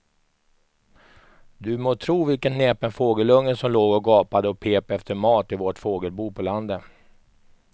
Du må tro vilken näpen fågelunge som låg och gapade och pep efter mat i vårt fågelbo på landet.